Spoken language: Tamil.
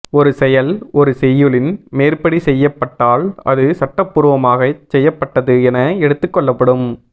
ஒரு செயல் ஒரு செய்யுளின் மேற்படி செய்யபட்டால் அது சட்டப்பூர்வமாகச் செய்யபட்டது என எடுத்துக் கொள்ளப்படும்